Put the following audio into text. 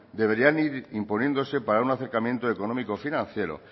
deberían ir imponiéndose para un acercamiento económico financiero